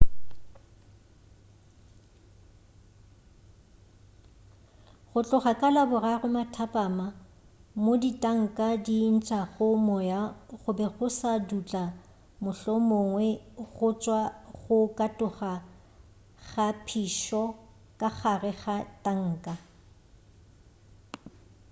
go tloga ka laboraro mathapama mo ditanka di ntšago moya go be go sa dutla mohlomongwe go tšwa go katoga ga phišo ka gare ga tanka